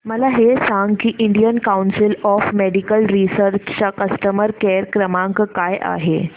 मला हे सांग की Indian council of medical research चा कस्टमर केअर क्रमांक काय आहे